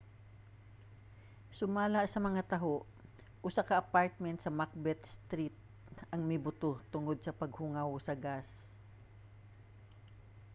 sumala sa mga taho usa ka apartment sa macbeth street ang mibuto tungod sa paghungaw sa gas